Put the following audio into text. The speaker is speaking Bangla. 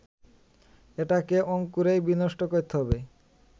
এটাকে অঙ্কুরেই বিনষ্ট করতে হবে